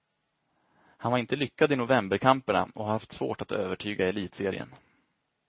Han var inte lyckad i novemberkamperna och har haft svårt att övertyga i elitserien.